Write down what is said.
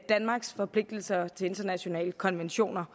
danmarks forpligtelser til internationale konventioner